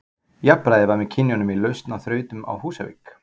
Jafnræði var með kynjunum í lausn á þrautum á Húsavík.